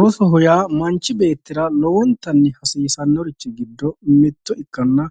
Rosoho yaa manchi beettira lowontanni hasiisanorichi giddo mitto ikkanna